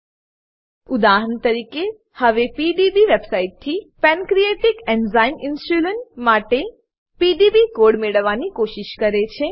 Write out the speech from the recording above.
nucleic acid દાહરણ તરીકેહવેPDB website થી pancreatic enzyme insulin pancreatic enzyme insulin માટે પીડીબી કોડ મેળવવાની કોશિશ કરે છે